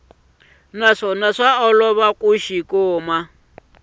naswona swa olova ku xi